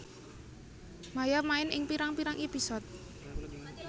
Maia main ing pirang pirang episode